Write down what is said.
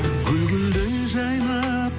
гүл гүлдей жайнап